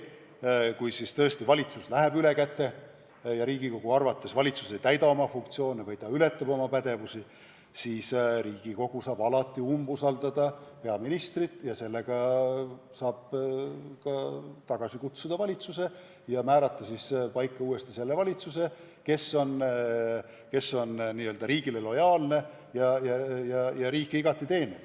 Ja kui tõesti valitsus läheb ülekäte ja Riigikogu arvates ei täida oma funktsioone või ületab oma pädevusi, siis Riigikogu saab alati peaministrile umbusaldust avaldada ja valitsuse tagasi kutsuda, nii et määrataks paika valitsus, kes on riigile lojaalne ja riiki igati teeniv.